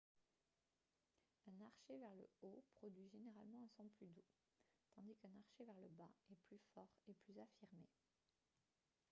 un archet vers le haut produit généralement un son plus doux tandis qu'un archet vers le bas est plus fort et plus affirmé